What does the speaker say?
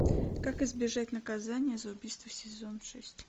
как избежать наказания за убийство сезон шесть